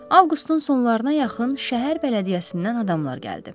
Avqustun sonlarına yaxın şəhər bələdiyyəsindən adamlar gəldi.